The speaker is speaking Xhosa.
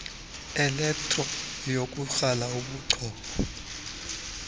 elektro yokukrala kobuchopho